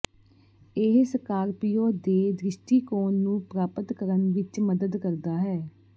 ਇਹ ਸਕਾਰਪੀਓ ਦੇ ਦ੍ਰਿਸ਼ਟੀਕੋਣ ਨੂੰ ਪ੍ਰਾਪਤ ਕਰਨ ਵਿੱਚ ਮਦਦ ਕਰਦਾ ਹੈ